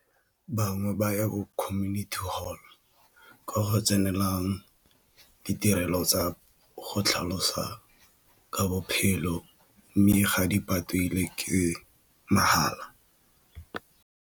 Bangwe ba ya community hall ka go tsenelelang ditirelo tsa go tlhalosa ka bophelo mme ga di patele ke mahala.